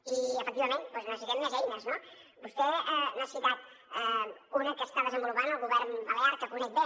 i efectivament doncs necessitem més eines no vostè n’ha citat una que està desenvolupant el govern balear que conec bé